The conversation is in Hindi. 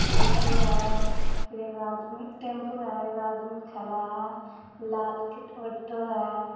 ऑटो है फिर एगो आदमी टैंपू है। एगो आदमी खड़ा है लाल के ऑटो है।